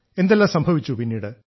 എന്തെല്ലാം സംഭവിച്ചു പിന്നീട്